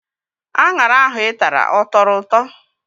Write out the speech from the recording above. Aṅara ahụ Ị tara ọ tọrọ ụtọ?